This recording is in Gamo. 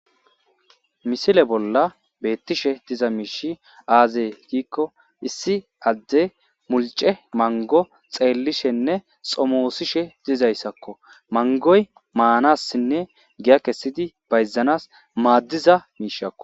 misile bolla beettishe diza miishi aazee giikko issi adde mulce mango xeellishenne xomoosishe dizayssakko mangoy maanassinne giya kessidi bayzanas maaddiza miishakko